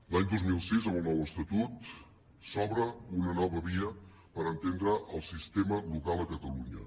l’any dos mil sis amb el nou estatut s’obre una nova via per entendre el sistema local a catalunya